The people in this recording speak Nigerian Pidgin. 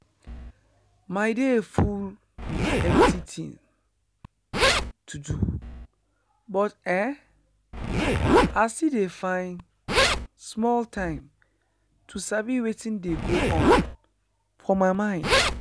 my day full with plenty thing to do but eh i still dey find small time to sabi wetin dey go on for my mind.